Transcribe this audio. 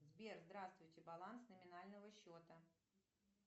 сбер здравствуйте баланс номинального счета